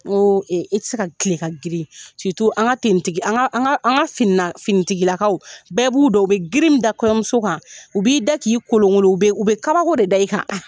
N go i ti se ka kilen ka grin an ka tigi ,an finitigilakaw. Bɛɛ b'olu dɔn u bɛ girin min da kɔɲɔmuso kan. U b'i da k'i kolonkolon, u be kabako de da i kan.